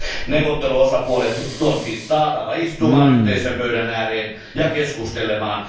Neuvotteluosapuolet on siis saatava istumaan yhteisen pöydän ääreen ja keskustelemaan.